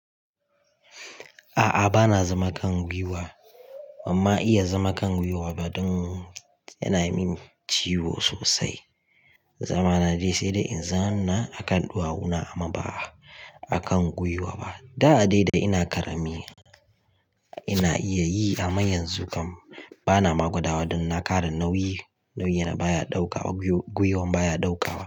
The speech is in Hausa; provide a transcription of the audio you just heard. A'a bana zama kan gwiwa, amma iya zama kan gwiwa ba don yana min ciwo sosai. Zama na dai sai da in zauna a kan ɗuwawuna amma ba a kan gwiwa ba. Da a da dai ina karami ina iya yi amma yanzu kam bana ma gwadawa don nakara nauyi, nauyina baya ɗaukawa, gwiwon baya ɗaukawa.